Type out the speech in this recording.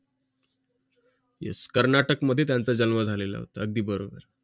कर्नाटक मध्ये त्यांचा जन्म झालेला होता अगदी बरोबर